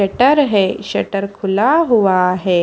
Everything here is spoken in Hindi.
शटर हैं शटर खुला हुआ है।